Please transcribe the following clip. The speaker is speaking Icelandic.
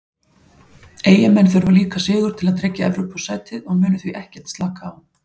Eyjamenn þurfa líka sigur til að tryggja Evrópusætið og munu því ekkert slaka á.